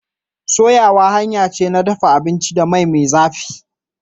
soyawa hanya ce ta dafa abinci da mai me zafi..